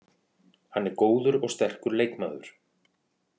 Hann er góður og sterkur leikmaður.